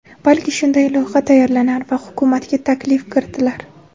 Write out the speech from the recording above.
Balki, shunday loyiha tayyorlanar va hukumatga taklif kiritilar.